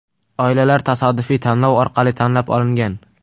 Oilalar tasodifiy tanlov orqali tanlab olingan.